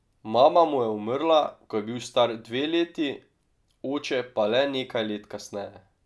Mama mu je umrla, ko je bil star dve leti, oče pa le nekaj let kasneje.